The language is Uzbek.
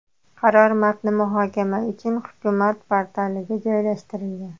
Qaror matni muhokama uchun hukumat portaliga joylashtirilgan.